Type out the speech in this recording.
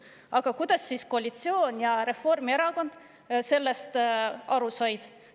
Aga kuidas koalitsioon ja Reformierakond sellest aru said?